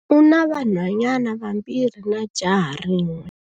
U na vanhwanyana vambirhi na jaha rin'we.